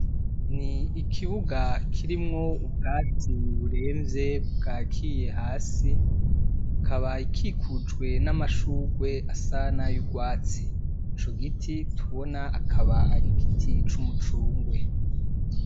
Ni ikibuga kirimwo ubwatsi buremvye bwakiye hasi, ikaba ikikujwe n'amashurwe asa nayurwatsi, ico giti tubona akaba ari igiti c'umucungwe.